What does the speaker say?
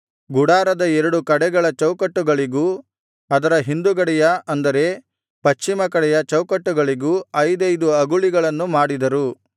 ಗುಡಾರದ ಎರಡು ಕಡೆಗಳ ಚೌಕಟ್ಟುಗಳಿಗೂ ಅದರ ಹಿಂದುಗಡೆಯ ಅಂದರೆ ಪಶ್ಚಿಮ ಕಡೆಯ ಚೌಕಟ್ಟುಗಳಿಗೂ ಐದೈದು ಅಗುಳಿಗಳನ್ನು ಮಾಡಿದರು